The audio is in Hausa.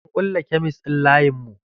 An kulle kemis ɗin layin mu.